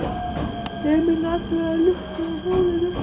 Emil athugaði luktina á hjólinu.